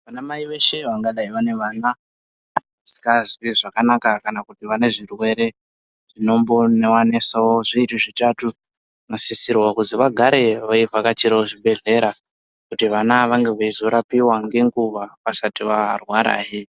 Anamai veshe vangadai vaine vana vasikazwi zvakanaka kana kuti vane zvirwere zvinombono nesawo zviri zvitatatu vanosisirwawo kuti vagare veivhakachirawo zvibhehlera kuti vana vange veizorapiwa ngenguwa vasati varwarahe.